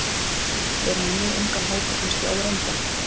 Við erum með mjög ungan hóp og kannski óreyndan.